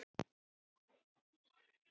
En þess þyrfti ekki.